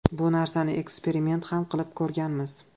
Bu narsani eksperiment ham qilib ko‘rganmiz.